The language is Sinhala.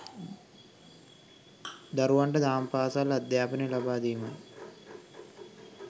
දරුවන්ට දහම් පාසල් අධ්‍යාපනය ලබාදීමයි